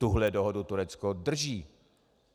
Tuhle dohodu Turecko drží!